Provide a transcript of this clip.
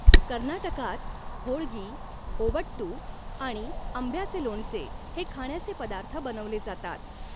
कर्नाटकात होळगी, ओबट्टू आणि आंब्याचे लोणचे हे खाण्याचे पदार्थ बनवले जातात.